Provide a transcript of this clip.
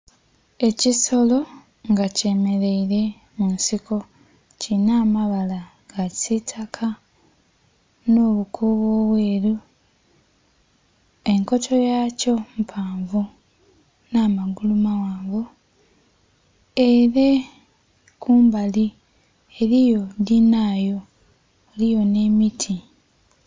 Ekisolo nga kyemereire mu nsiko kilinha amabala ga kisitaka nho bukubo obweru, enkoto yakyo mpavu nha magulu maghanvu. Ere kumbali eriyo dhinhayo eriyo nhe miti.